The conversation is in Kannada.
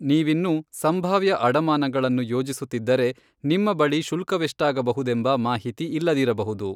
ನೀವಿನ್ನೂ ಸಂಭಾವ್ಯ ಅಡಮಾನಗಳನ್ನು ಯೋಜಿಸುತ್ತಿದ್ದರೆ, ನಿಮ್ಮ ಬಳಿ ಶುಲ್ಕವೆಷ್ಟಾಗಬಹುದೆಂಬ ಮಾಹಿತಿ ಇಲ್ಲದಿರಬಹುದು.